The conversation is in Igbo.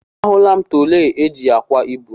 A hụla m trọli eji ákwà ibu.